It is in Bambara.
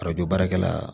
baarakɛla